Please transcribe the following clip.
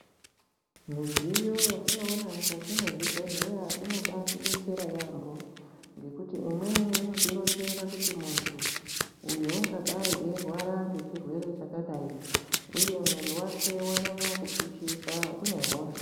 Midziyo yatinoona mukati mwezvibhedhleya inobatidetsera yambho ngekuti imweni inotironzera kuti muntu uyu ungadai eirwara ngechirwere chakadaii uye mwiri wake wanyanya kupishisa une hosha.